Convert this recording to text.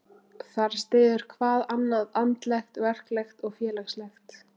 Þar styður hvað annað, andlegt, verklegt og félagslegt.